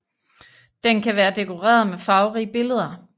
Den kan være dekoreret med farverige billeder